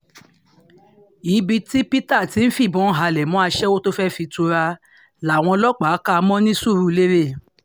ibi tí peter ti ń fìbọn halẹ̀ mọ́ aṣẹ́wó tó fẹ́ẹ́ fi tura làwọn ọlọ́pàá kà á mọ́ ní suruere